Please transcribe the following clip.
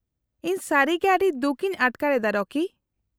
-ᱤᱧ ᱥᱟᱹᱨᱤᱜᱮ ᱟᱹᱰᱤ ᱫᱩᱠ ᱤᱧ ᱟᱴᱠᱟᱨ ᱮᱫᱟ ᱨᱚᱠᱤ᱾